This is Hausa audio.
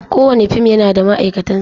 Kowane fim yana da ma'aikatansa.